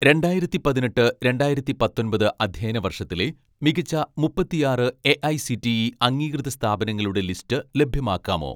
രണ്ടായിരത്തി പതിനെട്ട് രണ്ടായിരത്തി പത്തൊൻപത് അധ്യയന വർഷത്തിലെ മികച്ച മുപ്പത്തിയാറ് എ.ഐ.സി.ടി.ഇ അംഗീകൃത സ്ഥാപനങ്ങളുടെ ലിസ്റ്റ് ലഭ്യമാക്കാമോ